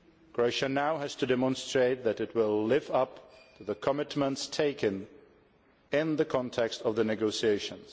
Croatia now has to demonstrate that it will live up to the commitments taken in the context of the negotiations.